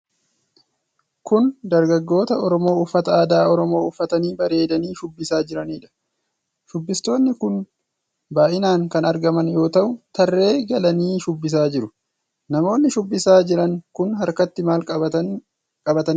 Kun dargaggoota Oromoo uffata aadaa Oromoo uffatanii bareedanii shubbisaa jiraniidha. Shubbistoonni kun baay'inaan kan argaman yoo ta'u, tarree galanii shubbisaa jiru. Namoonni shubbisaa jiran kun harkatti maal qabatanii shubbisaa jiru?